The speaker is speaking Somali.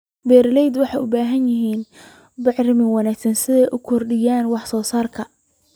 Beeralayda waxay u baahan yihiin bacrimin wanaagsan si ay u kordhiyaan wax soo saarka.